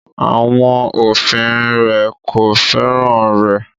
Àwọn òfin rẹ̀ kò fẹ́ràn rẹ̀